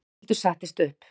Ragnhildur settist upp.